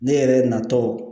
Ne yɛrɛ natɔ